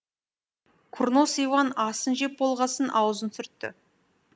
курнос иван асын жеп болғасын аузын сүртті